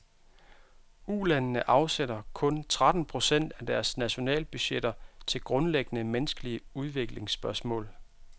Ulandene afsætter kun tretten procent af deres nationalbudgetter til grundlæggende menneskelige udviklingsspørgsmål.